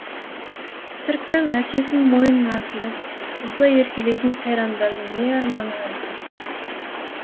шіркін әкесінің мойнына асылып осылай еркелейтін сайрандардың не арманы бар екен